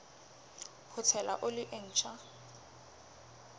ho tshela oli e ntjha